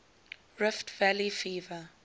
rift valley fever